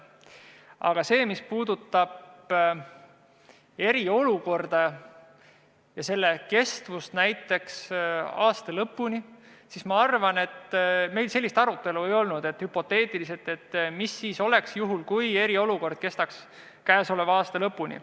Aga see, mis puudutab eriolukorda ja selle kestmist näiteks aasta lõpuni – ma arvan, et meil sellist hüpoteetilist arutelu ei olnud, et mis siis oleks, kui eriolukord kestaks käesoleva aasta lõpuni.